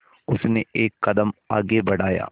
उसने एक कदम आगे बढ़ाया